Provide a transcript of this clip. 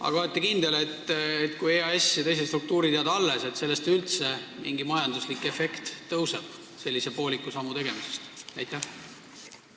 Aga kas olete kindel, et sellise pooliku sammu tegemisest üldse mingit majanduslikku efekti tõuseb, kui EAS ja teised struktuurid alles jäävad?